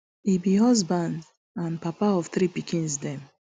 he be husband and papa of three pikins dem